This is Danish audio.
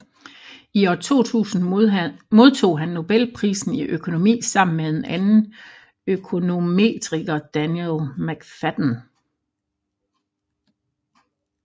I 2000 modtog han Nobelprisen i økonomi sammen med en anden økonometriker Daniel McFadden